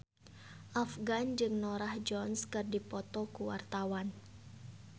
Afgan jeung Norah Jones keur dipoto ku wartawan